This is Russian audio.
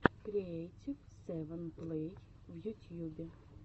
креэйтив сэвэн плэй в ютьюбе